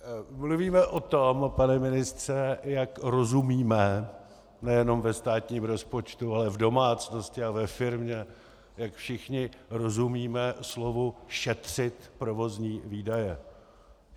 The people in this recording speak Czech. Mluvíme o tom, pane ministře, jak rozumíme - nejen ve státním rozpočtu, ale v domácnosti a ve firmě - jak všichni rozumíme slovu šetřit provozní výdaje.